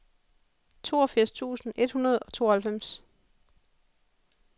toogfirs tusind et hundrede og tooghalvfems